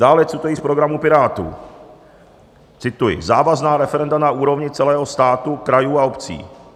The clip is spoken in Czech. Dále cituji z programu Pirátů, cituji: "Závazná referenda na úrovni celého státu, krajů a obcí.